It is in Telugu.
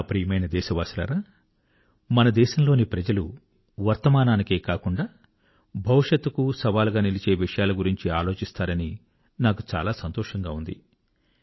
నా ప్రియమైన దేశవాసులారా మన దేశంలోని ప్రజలు వర్తమానానికే కాకుండా భవిష్యత్తు కూ సవాలు గా నిలిచే విషయాల గురించి ఆలోచిస్తారని నాకు చాలా సంతోషంగా ఉంది